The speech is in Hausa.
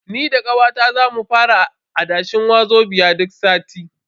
Ni da kawata za mu fara adashe Wazobia duk sati.